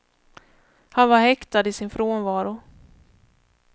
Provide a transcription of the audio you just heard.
Han var häktad i sin frånvaro.